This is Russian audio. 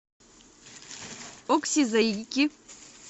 окси заики